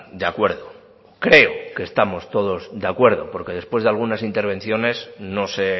de acuerdo creo que estamos todos de acuerdo porque después de algunas intervenciones no sé